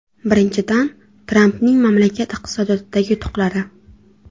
Birinchidan, Trampning mamlakat iqtisodiyotidagi yutuqlari.